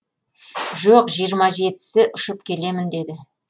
жоқ жиырма жетісі ұшып келемін деді